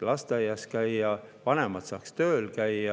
lasteaias ja vanemad saaksid käia tööl.